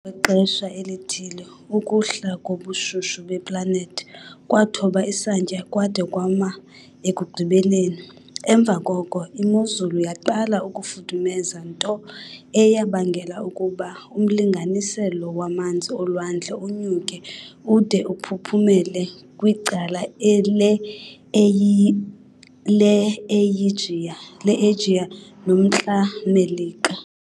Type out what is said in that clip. Emva kwexesha elithile ukuhla kobushushu beplanethi kwathoba isantya kwade kwama ekugqibeleni. Emva koko imozulu yaqala ukufudumeza nto eyabangela ukuba umlinganiselo wamanzi olwandle unyuke ude uphuphumela kwicala le Eyijiya noMntla-Melika.